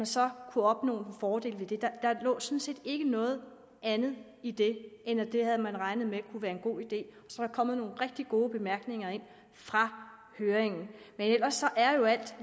så kunne opnå fordele ved det der lå sådan set ikke noget andet i det end at det havde man regnet med kunne være en god idé så er der kommet nogle rigtig gode bemærkninger ind fra høringen men ellers er jo alt